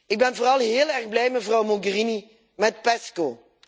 Ik ben vooral heel erg blij, mevrouw Mogherini, met PESCO.